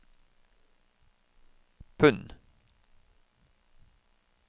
pund